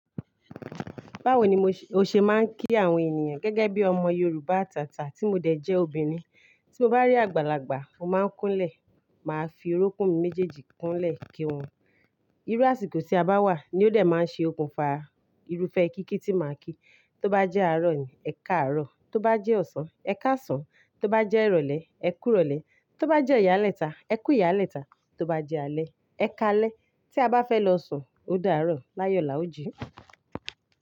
Báwo ni mo ṣe, o ṣe máa ń kí àwọn ènìyàn gẹ́gẹ́ bí ọmọ Yorùbá atàtà tí mo dẹ̀ jẹ́ obìnrin. Tí mo bá rí àgbàlagbà, mo máa ń kúnlẹ̀, màá fi orókún mi méjèèjì kúnlẹ̀ kí wọn. Irú àsìkò tí a bá wà ni ó dẹ̀ máa ń ṣe okùnfà irúfẹ́ kíkí tí màá kí. Tó bá jẹ́ àárọ̀ ni, ẹkáàárọ̀. Tó bá jẹ́ ọ̀sán, ẹkáàsán. Tó bá jẹ́ ìrọ̀lẹ́, ẹkúùrọ̀lẹ́. Tó bá jẹ́ ìyálẹ́ta, ẹkúùyálẹ́ta. Tó bá jẹ́ alẹ́, ẹkálẹ́. Tí a bá fẹ́ lọ sùn, o dáàárọ̀, láyò lá o ji.